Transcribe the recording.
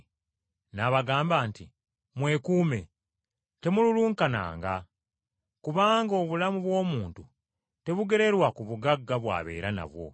N’abagamba nti, “Mwekuume! Temululunkananga. Kubanga obulamu bw’omuntu tebugererwa ku bugagga bw’abeera nabwo.”